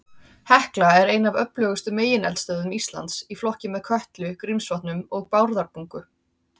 Hekla er ein af öflugustu megineldstöðvum Íslands, í flokki með Kötlu, Grímsvötnum og Bárðarbungu.